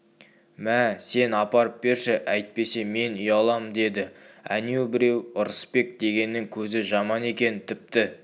мә сен апарып берші әйтпесе мен ұялам деді әнеу біреу ырысбек дегеннің көзі жаман екен тіпті